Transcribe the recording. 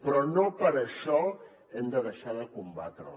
però no per això hem de deixar de combatre la